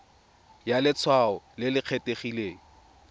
ya letshwao le le kgethegileng